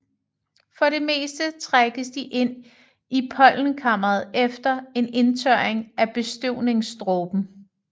For det meste trækkes de ind i pollenkammeret efter en indtørring af bestøvningsdråben